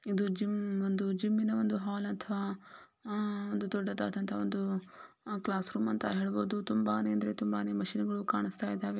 ಇದು ಜಿಮ್ ಒಂದು ಜಿಮ್ ನ ಹಾಲ್ಅಥವಾ ದೊಡ್ಡದಾದ ಒಂದು ಕ್ಲಾಸ್ ರೂಮ್ ಅಂತ ಹೇಳಬಹುದು . ತುಂಬಾನೇ ಅಂದ್ರೆ ತುಂಬಾನೇ ಮ್ಯಾಚಿನ ಗಳು ಕಾಣಿಸ್ತಾ ಇದಾವೆ .